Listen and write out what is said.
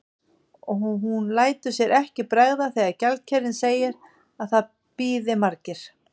Og hún lætur sér ekki bregða þegar gjaldkerinn segir að það bíði margir.